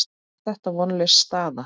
Er þetta vonlaus staða?